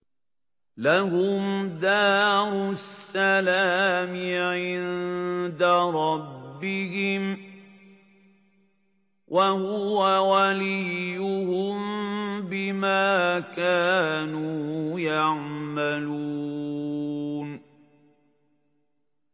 ۞ لَهُمْ دَارُ السَّلَامِ عِندَ رَبِّهِمْ ۖ وَهُوَ وَلِيُّهُم بِمَا كَانُوا يَعْمَلُونَ